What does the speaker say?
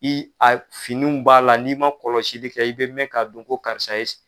I a finiw b'a la n'i man kɔlɔsili kɛ i bɛ mɛn ka dɔn ko karisa ye